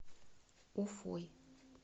уфой